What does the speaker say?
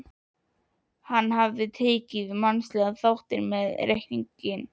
En hann hafði ekki tekið mannlega þáttinn með í reikninginn.